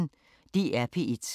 DR P1